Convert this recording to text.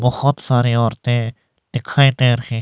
बहुत सारे औरतें दिखाई दे रहे।